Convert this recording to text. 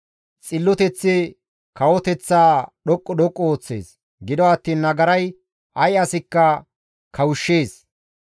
Xilloteththi kawoteththaa dhoqqu dhoqqu ooththees; gido attiin nagaray ay asikka kawushshees.